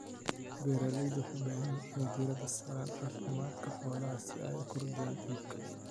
Beeralayda waxay u baahan yihiin inay diiradda saaraan caafimaadka xoolaha si ay u kordhiyaan iibka.